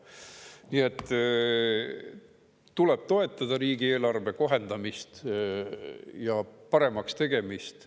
Nii et tuleb toetada riigieelarve kohendamist ja paremaks tegemist.